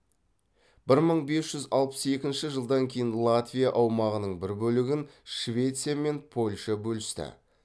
бір мың бес жүз алпыс екінші жылдан кейін латвия аумағының бір бөлігін швеция мен польша бөлісті